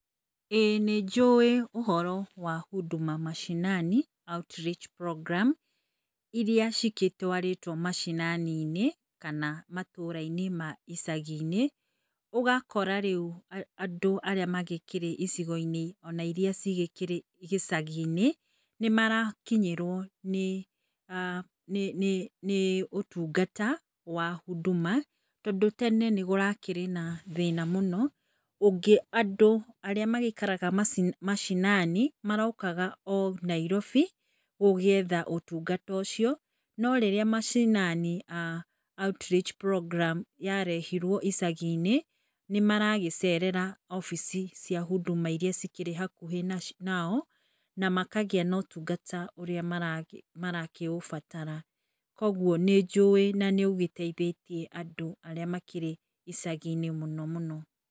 Ĩ nĩnjũĩ ũhoro wa huduma macinani outreach program irĩa cigĩtwarĩtwo mashinani- inĩ kana matũra inĩ ma icagi-inĩ. ũgakors rĩu andũ arĩa makĩrĩ icigo-inĩ irĩa cikĩrĩ icagi-inĩ nĩ marakinyĩrwo [ah ]nĩ ũtungata wa huduma tondũ, tene nĩkũrakĩrĩ na thĩna mũno. Andũ arĩa magĩikaraga macinani marokaga nairobi gũgĩetha ũtungata ũcio no rĩrĩa macinani outreach program yarehirwo icagi-inĩ nĩ maragĩcerera obici cia huduma irĩa cikĩrĩ hakuhĩ nao na makagĩa na ũtungata ũrĩa maragĩbatara. Koguo nĩ ũgĩteithĩtie andũ arĩa makĩrĩ icagi-inĩ mũno.